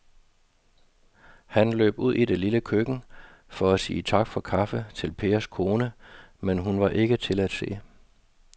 Han løb ud i det lille køkken for at sige tak for kaffe til Pers kone, men hun var ikke til at se.